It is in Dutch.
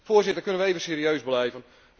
Voorzitter, kunnen we even serieus blijven?